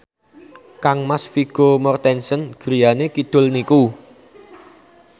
kangmas Vigo Mortensen griyane kidul niku